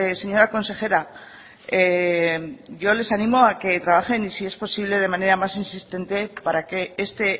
señora consejera yo les animo a que trabajen si es posible de manera más insistente para que este